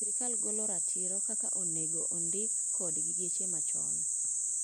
Sirkal gola ratiro kaka onengo ondik kodgi geche machon.